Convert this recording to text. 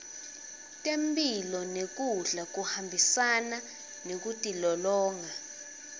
temphilo nekudla kuhambisana nekutilolonga